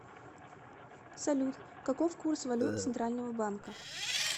салют каков курс валют центрального банка